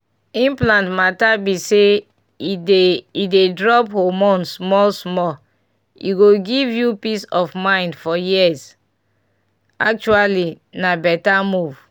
implant matter be say e dey e dey drop hormone small-small e go give you peace of mind for years pause actually na better move!